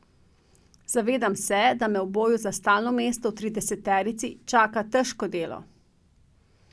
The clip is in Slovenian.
Zavedam se, da me v boju za stalno mesto v trideseterici čaka težko delo.